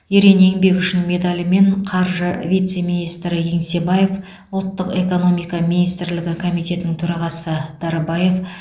ерен еңбегі үшін медалімен қаржы вице министрі еңсебаев ұлттық экономика министрлігі комитетінің төрағасы дарбаев